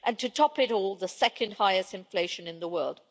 and to top it all, the second highest inflation in the world.